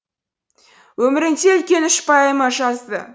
өмірінде үлкен үш поэма жазды